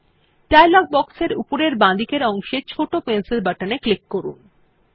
এখন dialog box এর উপরের বাঁদিকের অংশের ছোট পেন্সিল বাটন এ ক্লিক করুন